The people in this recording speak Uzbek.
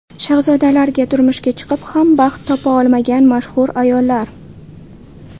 Shahzodalarga turmushga chiqib ham baxt topa olmagan mashhur ayollar .